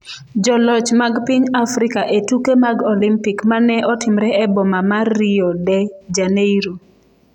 Joloch mag piny Afrika e tuke mag Olimpik ma ne otimre e boma ma Rio de Janeiro